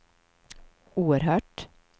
oerhört